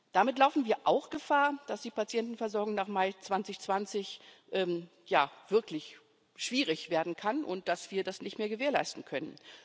Damit laufen wir auch Gefahr, dass die Patientenversorgung nach Mai 2020 wirklich schwierig werden kann und dass wir das nicht mehr gewährleisten können.